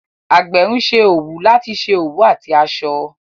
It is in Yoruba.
Àgbẹ̀ ń ṣe òwú láti ṣe òwú àti aṣọ.